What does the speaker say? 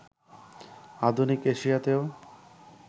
আধুনিক এশিয়াতেও